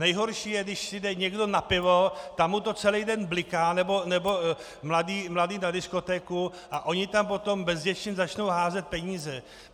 Nejhorší je, když si jde někdo na pivo, tam mu to celý den bliká, nebo mladí na diskotéku, a oni tam potom bezděčně začnou házet peníze.